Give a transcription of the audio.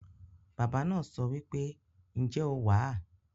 Baba naa sowipe, "Nje o wa?"